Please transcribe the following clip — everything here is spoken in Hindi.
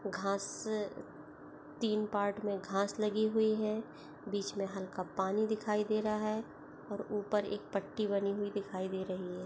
घास तीन पार्ट मे घाँस लगी हुई है बीच में हल्का पानी दिखाई दे रहा हैं और ऊपर एक पट्टी बनी हुई दिखाई दे रही है।